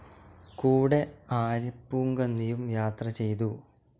കൂടെ ആര്യപ്പൂങ്കന്നിയും യാത്ര ചെയ്തു.